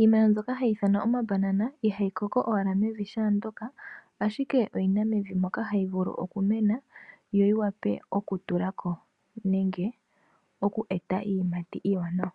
Iimeno mbyoka hayi ithanwa omabanana ihayi koko owala mevi shaandoka, ashike oyina mevi moka hayi vulu okumena yo yiwape okutulako nenge oku eta iiyimati iiwanawa.